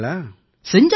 செஞ்சாச்சுய்யா